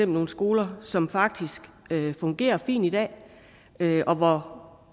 nogle skoler som faktisk fungerer fint i dag og hvor